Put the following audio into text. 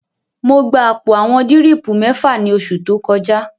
Mo gba àpò àwọn dírìpù mẹ́fà ní oṣù tó kọjá